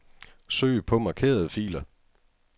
Søg på markerede filer.